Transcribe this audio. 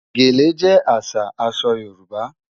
Gẹ̀lẹ̀ jẹ́ àṣà àṣọ Yorùbá